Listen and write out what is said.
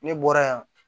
Ne bɔra yan